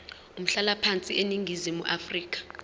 umhlalaphansi eningizimu afrika